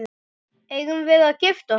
Eigum við að gifta okkur?